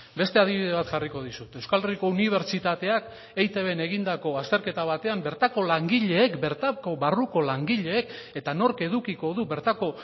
beste adibide bat jarriko dizut euskal herriko unibertsitateak eitbn egindako azterketa batean bertako langileek bertako barruko langileek eta nork edukiko du bertako